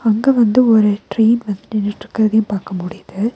அங்க வந்து ஒரு ட்ரெயின் வன்ட்டு நின்னுட்ருக்குறதையு பாக்க முடியுது.